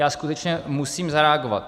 Já skutečně musím zareagovat.